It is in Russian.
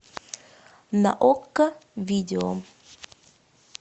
на окко видео